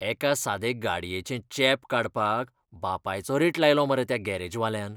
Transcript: एका सादें गाडयेचें चेंप काडपाक बापायचो रेट लायलो मरे त्या गॅरेजवाल्यान.